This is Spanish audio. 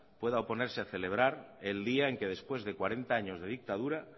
pueda oponerse el día en que después de cuarenta años de dictadura